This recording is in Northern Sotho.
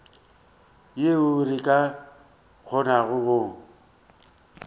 yeo re ka kgonago go